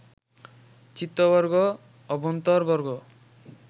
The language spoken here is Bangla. চিত্তবর্গ, অভ্যন্তরবর্গ